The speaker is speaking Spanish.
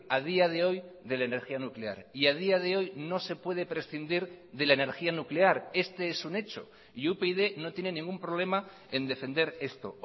a día de hoy de la energía nuclear y a día de hoy no se puede prescindir de la energía nuclear este es un hecho y upyd no tiene ningún problema en defender esto